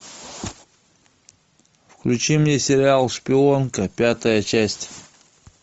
включи мне сериал шпионка пятая часть